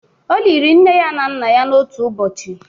O liri nne ya na nna ya n'otu ụbọchị.